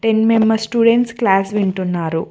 Ten members students class వింటున్నారు.